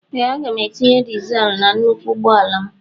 Ee aga m etinye dịzul na nnụkwụ ụgbọala m